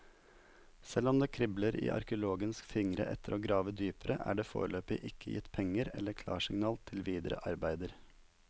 Selv om det kribler i arkeologenes fingre etter å grave dypere, er det foreløpig ikke gitt penger eller klarsignal til videre arbeider.